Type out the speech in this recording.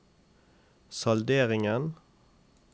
salderingen